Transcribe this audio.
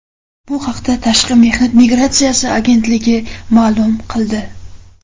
Bu haqda Tashqi mehnat migratsiyasi agentligi ma’lum qildi .